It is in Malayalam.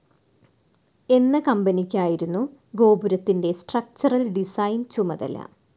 എന്ന കമ്പനിയ്ക്കായിരുന്നു ഗോപുരത്തിന്റെ സ്ട്രക്ചറൽ ഡിസൈൻ ചുമതല.